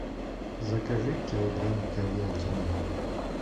закажи килограмм говядины